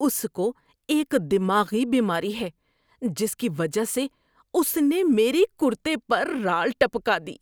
اس کو ایک دماغی بیماری ہے جس کی وجہ سے اس نے میرے کُرتے پر رال ٹپکا دی۔